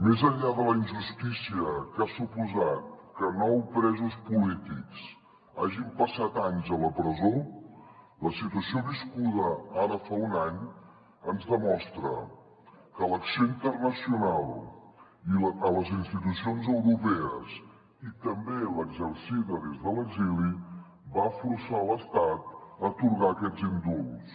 més enllà de la injustícia que ha suposat que nou presos polítics hagin passat anys a la presó la situació viscuda ara fa un any ens demostra que l’acció internacional a les institucions europees i també l’exercida des de l’exili va forçar l’estat a atorgar aquests indults